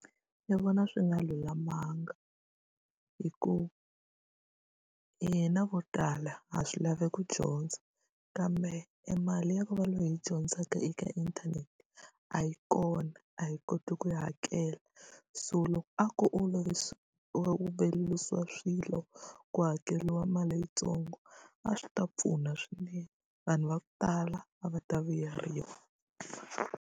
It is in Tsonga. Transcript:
Ndzi vona swi nga lulamanga. Hi ku hina vo tala ha swi lava ku dyondza, kambe e mali ya ku va hi dyondzaka eka ka inthanete a yi kona, a hi koti ku yi hakela. So loko a ko olovisa swilo ku hakeriwa mali yintsongo a swi ta pfuna swinene, vanhu va ku tala a va ta vuyeriwa.